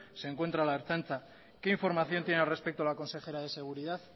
se encuentra la ertzaintza qué información tiene al respecto la consejera de seguridad